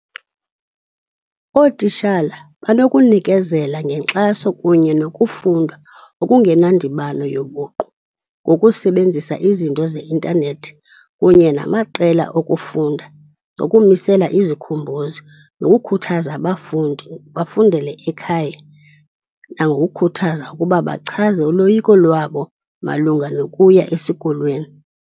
Ootishala banokunikezela ngenkxaso kunye nokufunda okungenandibano yobuqu ngokusebenzisa izinto ze-intanethi kunye namaqela okufunda, nokumisela izikhumbuzi nokukhuthaza abafundi bafundele ekhaya, nangokhuthaza ukuba bachaze uloyiko lwabo malunga nokuya esikolweni.